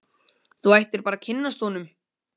Þú ættir bara að kynnast honum.